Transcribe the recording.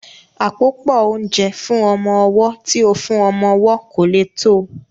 Àpòpọ́ oúnjẹ fún ọmọ ọwọ́ tí ó fún ọmọ owó kò lè tó